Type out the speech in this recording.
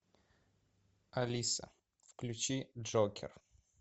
алиса включи джокер